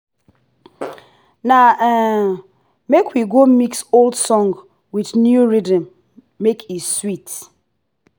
na um make we go mix old song with new rhythm make e sweet.